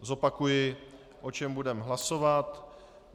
Zopakuji o čem budeme hlasovat.